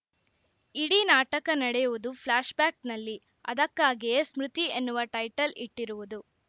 ಇಡೀ ನಾಟಕ ನಡೆಯುವುದು ಫ್ಲ್ಯಾಶ್‌ ಬ್ಯಾಕ್‌ನಲ್ಲಿ ಅದಕ್ಕಾಗಿಯೇ ಸ್ಮೃತಿಎನ್ನುವ ಟೈಟಲ್‌ ಇಟ್ಟಿರುವುದು